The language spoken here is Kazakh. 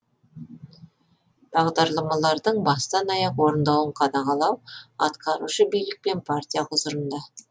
бағдарламалардың бастан аяқ орындалуын қадағалау атқарушы билік пен партия құзырында